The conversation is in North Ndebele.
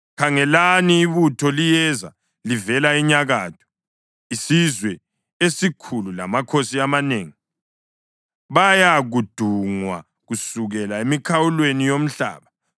Khangelani! Ibutho liyeza livela enyakatho; isizwe esikhulu lamakhosi amanengi bayadungwa kusukela emikhawulweni yomhlaba.